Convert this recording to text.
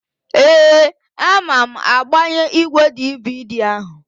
Ee, ama m agbanye ígwèdividi áhụ̀.